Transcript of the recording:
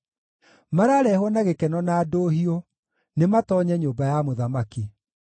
Mararehwo na gĩkeno na ndũhiũ; nĩmatoonye nyũmba ya mũthamaki.